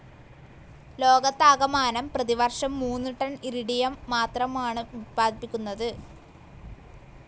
ലോകത്താകമാനം പ്രതിവർഷം മൂന്ന് ടൺ ഇറിഡിയം മാത്രമാണ് ഉത്പാദിപ്പിക്കുന്നത്.